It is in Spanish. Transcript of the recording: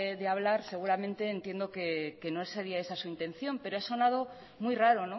de hablar seguramente entiendo que no sería esa su intención pero ha sonado muy raro